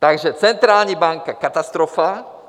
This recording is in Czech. Takže centrální banka, katastrofa.